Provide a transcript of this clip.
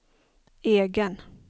egen